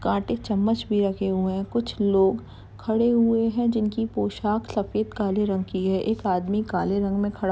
काटे चम्मच भी रखे हुए है कुछ लोग खड़े हुए हैं जिनकी पोशाक सफ़ेद और काले रंग की हैं एक आदमी काले रंग में खड़ा --